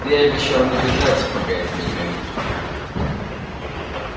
ты обещал не бежать пока я тебя не найду